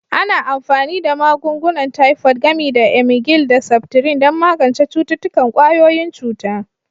Ana amfani da magungunan Tifod, gami da emgyl da septrin, don magance cututtukan ƙwayoyin cuta.